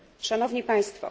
Szanowni państwo!